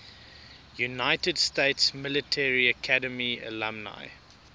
united states military academy alumni